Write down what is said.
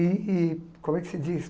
E como é que se diz?